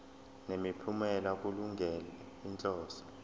nemiphumela kulungele inhloso